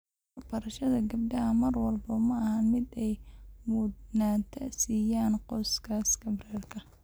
Waxbarashada gabdhaha mar walba ma ahan mid ay mudnaanta siiyaan qoysaska rer .